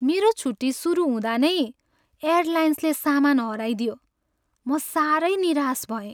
मेरो छुट्टी सुरु हँदा नै एयरलाइन्सले सामान हराइदियो। म साह्रै निराश भएँ।